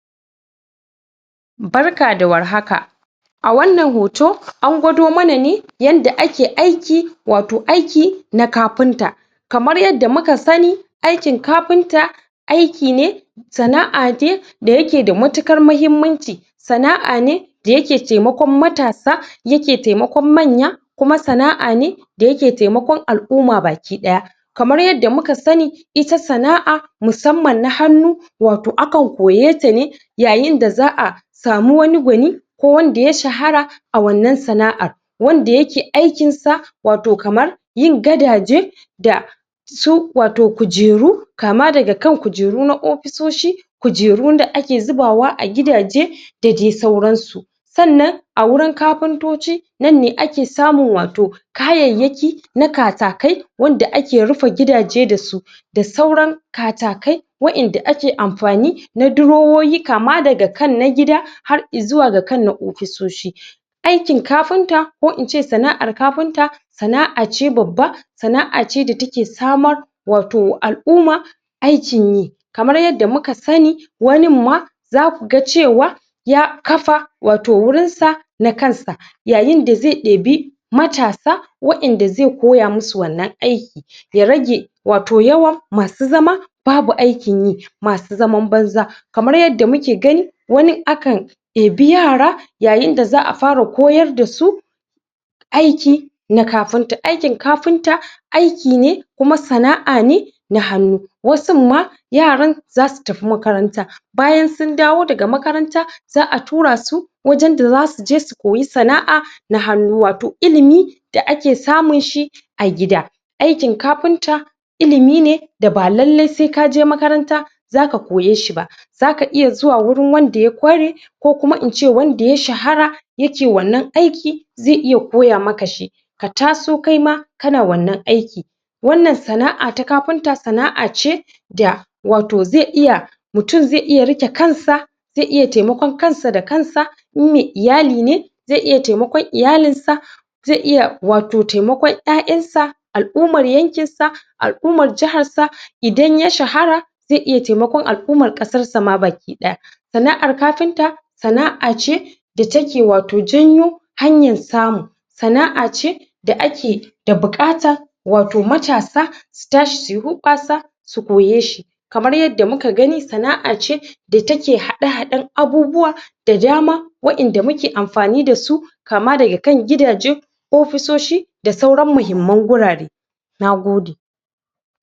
Suna cigaba da girbewa tareda kuma fitar da wannan abunda aka samu a gonan. Kamar yadda muke gani dai gashinan mutun ne yana riƙe wato, wato abunda yafitar wannan gona ɗin inda yazuba a cikin buhu yake kokarin titar dashi wajen gona ɗin. Ihidai itta gona ana shuki ne bayan anymata huɗa, bayan anyi huɗa kuma sannan azo asa irri a cikin gona ɗin, sa’a bunneta bayan ruwan sama ya bugeta ko kuma anyimata bayi idan a lokcin rani ne. sannan sa’a ɗauki wannanamfanin irri ɗin sai a zuba matataki bayan anzuba taki sanna azo inta fara girma takai wani mataki sai azo a zuba maganin kwari, sannan a zuba mata ruwa ko kuma a cigaba da barin ruwa sama yana dukanta. Bayan ruwan sama ko kuma anyi mata bayin inta girma takai wani mataki sannan sai azo a ciccireta, azo a girbeta ana ɗauka zuwa kasuwa ko kuma ana zuwa ana amfani dashi a gida domincin yau da kullum. Kamar yadda muke gani anan mutunne yake ɗauke da wato fatar buhu wanda ya zuba na amfanin gona a ciki inda yake amfani dasu ya zuwa wajen gona ɗin, domin ɗauka zuwa kasuwa ko kuwa ɗauka izuwa guda domin sarrafashi a gida. Ittadai shuka anayinta ne a gona domin samun abunda za’aci yau da kullum haka zalika, ana amfani da ittane bayan ta nuna domin saidawa nay au da kullum ga ɗan Adam. Itta dai gona wato tana daga cikin abunda Allah ya albarkaci ɗa Adam dashi domin biyan buƙatu nay au da kullum tare da kuma yin abinci a gida. Itta dai wannan gona kama yadda muke manomin ta yana cigaba da girbr abunda yasamu tareda fidda wannan abun izuwa wajen gona.